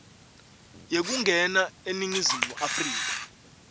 yekungena eningizimu afrika